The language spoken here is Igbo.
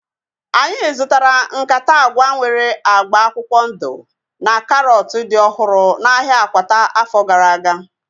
Anyị zụtara nkata agwa nwere agba akwụkwọ ndụ na karọt dị ọhụrụ n'ahia Akwata afọ gara aga